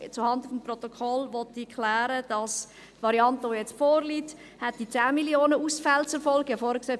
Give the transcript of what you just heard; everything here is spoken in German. Zuhanden des Protokolls möchte ich klären, dass die Variante, die jetzt vorliegt, 10 Mio. Franken Ausfälle zur Folge hätte.